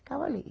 Ficava ali